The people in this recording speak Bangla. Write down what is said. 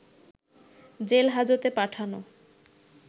জেল হাজতে পাঠানো